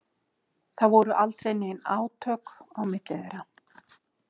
Það voru aldrei nein átök á milli þeirra?